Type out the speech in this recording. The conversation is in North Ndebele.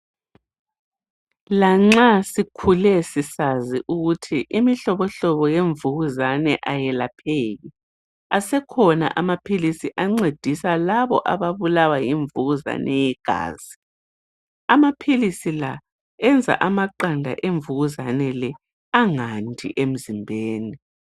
Lanxa sikhule sisazi ukuthi imihlobo hlobo yemvukuzane ayelapheki. Asekhona amaphilisi ancedisa labo ababulawa yimvukuzane yegazi, amaphilisi enza amaqanda emvukuzane le angandi emzimbeni.